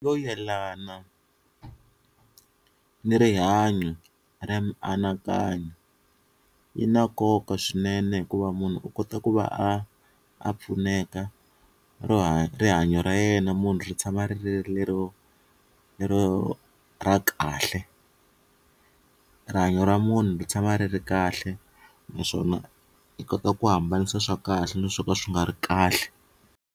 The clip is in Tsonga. Yo yelana na rihanyo ra mianakanyo yi na nkoka swinene hikuva munhu u kota ku va a a pfuneka rihanyo ra yena na munhu ri tshama ri ri lero lero ra kahle rihanyo ra munhu ri tshama ri ri kahle naswona yi kota ku hambanisa swa kahle na swo ka swi nga ri kahle